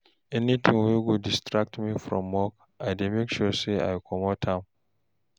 anytin wey go distract me from work I dey make sure say I comot am